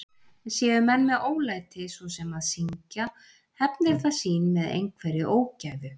Séu menn með ólæti, svo sem að syngja, hefnir það sín með einhverri ógæfu.